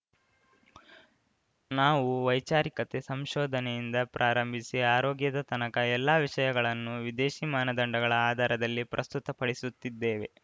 ನಾವು ವೈಚಾರಿಕತೆ ಸಂಶೋಧನೆಯಿಂದ ಪ್ರಾರಂಭಿಸಿ ಆರೋಗ್ಯದ ತನಕ ಎಲ್ಲ ವಿಷಯಗಳನ್ನೂ ವಿದೇಶಿ ಮಾನದಂಡಗಳ ಆಧಾರದಲ್ಲಿ ಪ್ರಸ್ತುತ ಪಡಿಸುತ್ತಿದ್ದೇವೆ